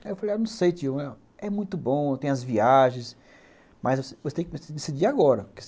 Aí eu falei, não sei tio, é muito bom, tem as viagens, mas você tem que decidir agora.